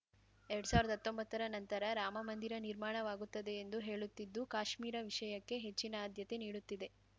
ಎರಡ್ ಸಾವಿರ್ದಾ ಹತ್ತೊಂಬತ್ತರ ನಂತರ ರಾಮಮಂದಿರ ನಿರ್ಮಾಣವಾಗುತ್ತದೆ ಎಂದು ಹೇಳುತ್ತಿದ್ದು ಕಾಶ್ಮೀರ ವಿಷಯಕ್ಕೆ ಹೆಚ್ಚಿನ ಆಧ್ಯತೆ ನೀಡುತ್ತಿದೆ